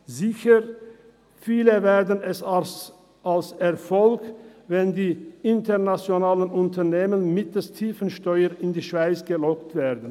Sicher, viele werten es als Erfolg, wenn die internationalen Unternehmer mittels tiefen Steuern in die Schweiz gelockt werden.